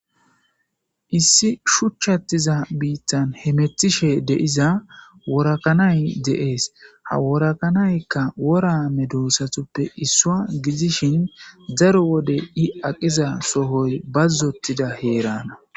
Issi shuchchattiza biittan he metishe deiza worakanay deees haworakanaykka worame doossatuppe issua gidishin daro wode i aqiza sohoy bazzotida heerana.